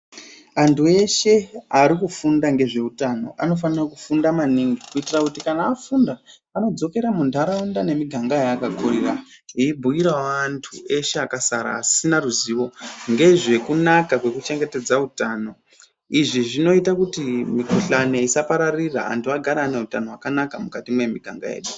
Anthu eshe ari kufunda ngezveutano anofanira kufunda maningi kuitira kuti kana afunda anodzokera muntharaunda nemiganga yaakakurira veibhuyirawo anthu eshe akasara asina ruzivo ngezvekunaka kwekuchengetedza utano. Izvi zvinoita kuti mikhuhlani isapararira anthu agare ane utano hwakanaka mukati mwemiganga yeshe.